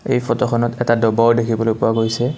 এই ফটোখনত এটা ডবাও দেখিবলৈ পোৱা গৈছে।